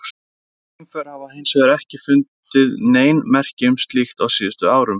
Geimför hafa hins vegar ekki fundið nein merki um slíkt á síðustu árum.